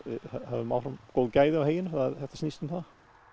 höfum áfram góð gæði á heyinu þetta snýst um það